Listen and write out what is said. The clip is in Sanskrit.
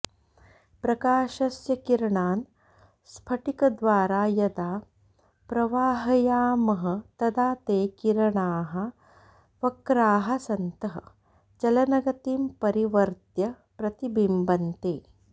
प्रकाशस्य किरणान् स्फटिकद्वारा यदा प्रवाहयामः तदा ते किरणाः वक्राः सन्तः चलनगतिं परिवर्त्य प्रतिबिम्बन्ते